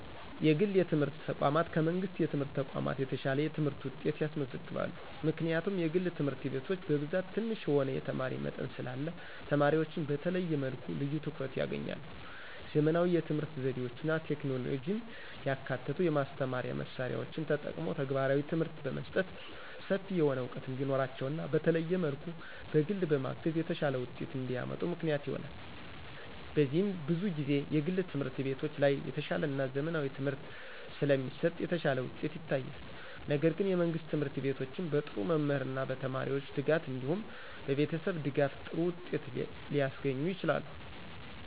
የግል የትምህርት ተቋማት ከመንግሥት የትምህርት ተቋማት የተሻለ የትምህርት ውጤት ያስመዘግባሉ። ምክንያቱም የግል ትምህርት ቤቶች በብዛት ትንሽ የሆነ የተማሪ መጠን ስላለ ተማሪዎችን በተለየ መልኩ ልዩ ትኩረት ያገኛሉ። _ ዘመናዊ የትምህርት ዘዴዎችና ቴክኖሎጂን ያካተቱ የማስተማሪያ መሳሪያዎችን ተጠቅሞ ተግባራዊ ትምህርት በመስጠት ሰፊ የሆነ ዕውቀት እንዲኖራቸውና በተለየ መልኩ በግል በማገዝ የተሻለ ውጤት እንዲያመጡ ምክንያት ይሆናል። በዚህም ብዙ ጊዜ የግል ትምህርት ቤቶች ላይ የተሻለና ዘመናዊ ትምህርት ስለሚሰጥ የተሻለ ውጤት ይታያል። ነገር ግን የመንግስት ትምህርት ቤቶችም በጥሩ መምህርና በተማሪዎች ትጋት እንዲሁም በቤተሰብ ድጋፍ ጥሩ ውጤት ሊያስገኙ ይችላሉ።